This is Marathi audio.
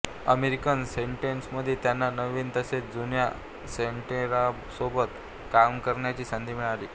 अमेरिकन सेनेटमध्ये त्यांना नवीन तसेच जुन्या सेनेटरांसोबत काम करण्याची संधी मिळाली